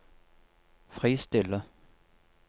fristille